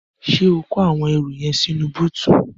Ṣé o kó àwọn ẹrù yẹn sínú bóótù?